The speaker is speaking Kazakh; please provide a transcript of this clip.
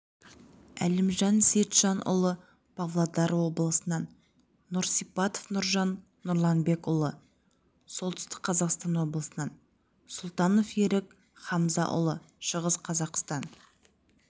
әлімжан сейітжанұлы павлодар облысынан нұрсипатов нұржан нұрланбекұлы солтүстік қазақстан облысынан сұлтанов ерік хамзаұлы шығыс қазақстан